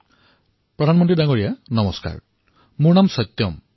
নমস্কাৰ প্ৰধানমন্ত্ৰী ডাঙৰীয়া মোৰ নাম সত্যম